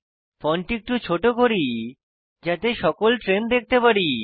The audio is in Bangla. ফন্ট একটু ছোট করি যাতে সকল ট্রেন দেখতে পারি